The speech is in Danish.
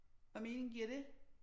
Hvad mening giver det?